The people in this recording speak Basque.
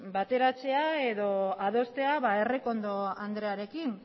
bateratzea edo adostea errekondo andrearekin